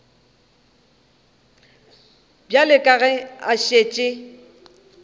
bjale ka ge a šetše